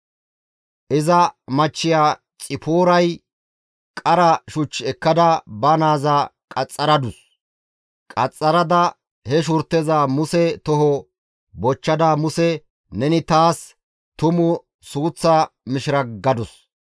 Iza machchiya Xipooray qara shuch ekkada ba naaza qaxxaradus. Qaxxarada he shurteza Muse toho bochchada Muse, «Neni taas tumu suuththa mishira» gadus.